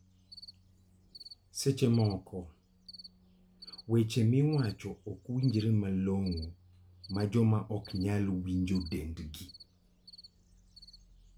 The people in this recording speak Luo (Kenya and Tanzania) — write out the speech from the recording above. Seche moko weche miwacho ok winjre malong'o ma jomoko ok nyal winjo tiendgi.